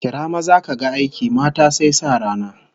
Kira maza kaga aiki, mata sai sa rana